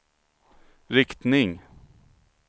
riktning